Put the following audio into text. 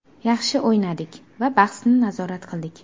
Yaxshi o‘ynadik va bahsni nazorat qildik.